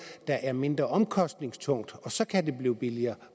der er mindre omkostningstungt og så kan det blive billigere